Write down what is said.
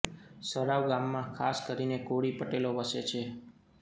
સરાવ ગામમાં ખાસ કરીને કોળી પટેલો વસે છે